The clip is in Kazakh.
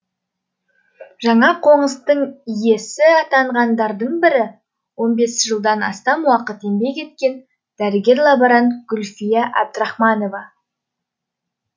жаңа қоныстың иесі атанғандардың бірі он бес жылдан астам уақыт еңбек еткен дәрігер лаборант гүлфия әбдірахманова